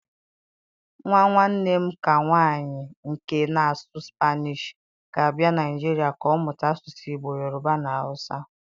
Nwa nwanne m ké nwanyị nke na-asụ Spanish, ga-abịa Naịjirịa ka ọ mụta asụsụ Igbo, Yoruba na Hausa.